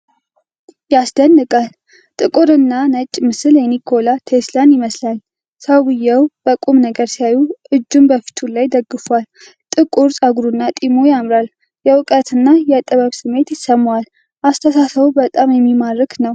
ያስደንቃል! ጥቁርና ነጭ ምስል የኒኮላ ቴስላ ይመስላል። ሰውየው በቁም ነገር ሲያዩ! እጁን በፊቱ ላይ ደግፎአል። ጥቁር ፀጉሩና ጢሙ ያምራል። የእውቀትና የጥበብ ስሜት ይሰማል። አስተሳሰቡ በጣም የሚማርክ ነው።